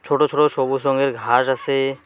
ছোট ছোট সবুজ রঙের ঘাস আসে।